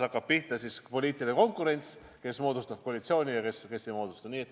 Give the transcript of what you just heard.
Hakkab pihta poliitiline konkurents, kes moodustavad koalitsiooni ja kes ei moodusta.